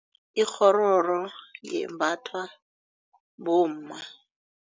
Ikghororo yembathwa bomma.